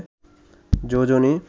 যোজনী